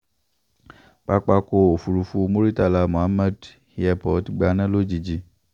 pápákọ̀ òfurufú murità muhammed airport gbaná lójijì